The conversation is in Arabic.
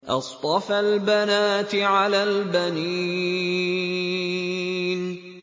أَصْطَفَى الْبَنَاتِ عَلَى الْبَنِينَ